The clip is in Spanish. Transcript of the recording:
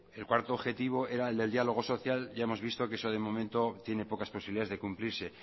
el cuarto objetivo era el del diálogo social ya hemos visto que eso de momento tiene pocas posibilidades de cumplirse